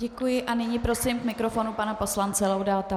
Děkuji a nyní prosím k mikrofonu pana poslance Laudáta.